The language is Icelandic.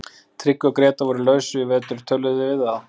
Tryggvi og Grétar voru á lausu í vetur, töluðuð þið við þá?